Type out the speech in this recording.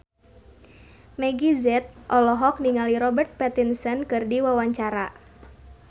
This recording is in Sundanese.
Meggie Z olohok ningali Robert Pattinson keur diwawancara